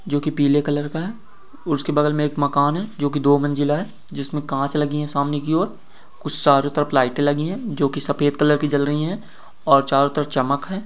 जो कि पीले कलर का है उसके बगल में एक मकान है जो कि दो मंजिला है जिसमें कांच लगी है सामने की ओर कुछ चारों तरफ लाइटें लगी है जो कि सफेद कलर की जल रही है और चारों तरफ़ चमक हैं।